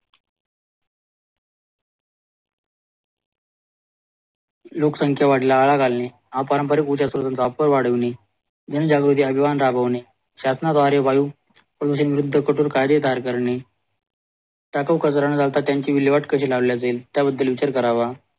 लोकसंख्या वाढीला आळा घालणे पारंपरिक ऊर्जा स्रोतांना उपाय वाढविणे जण जागृती अभियान राबविणे द्वारे वायू प्रदूषणवर कठोर कायदे तैयार करणे टाकाऊ कचरा न घालता त्याची विल्लेवाट कशी लावले जाईल त्या विचार करावा